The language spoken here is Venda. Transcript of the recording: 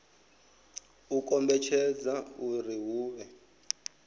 u kombetshedza uri hu vhe